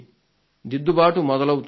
దిద్దుబాటు మొదలవుతుంది